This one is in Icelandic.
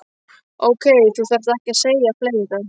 Ókei, þú þarft ekki að segja fleira.